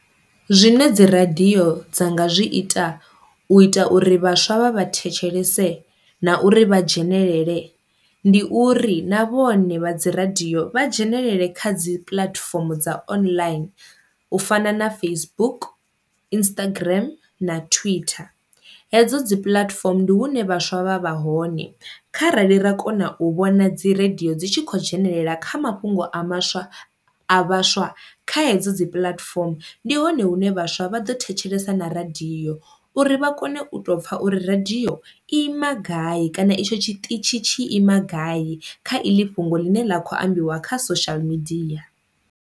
Zwine dzi radio dza nga zwi ita u ita uri vhaswa vha vha thetshelese na uri vha dzhenelele ndi uri na vhone vha dzi radio vha dzhenelele kha dzi puḽatifomo dza online u fana na Facebook, Instagram na Twitter. Hedzo dzi puḽatifomo ndi hune vhaswa vha vha hone, kharali ra kona u vhona dzi radio dzi tshi khou dzhenelela kha mafhungo a maswa a vhaswa kha hedzo dzi puḽatifomo ndi hone hune vhaswa vha ḓo thetshelesa na radio uri vha kone u tou pfha uri radio i ima gai kana etsho tshiṱitzhi tshi ima gai kha iḽi fhungo ḽine ḽa kho ambiwa kha social media.